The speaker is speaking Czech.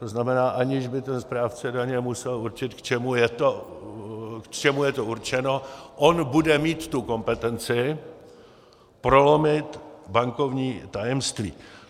To znamená, aniž by ten správce daně musel určit, k čemu je to určeno, on bude mít tu kompetenci prolomit bankovní tajemství.